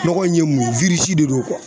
Nɔgɔ in ye mun ye de do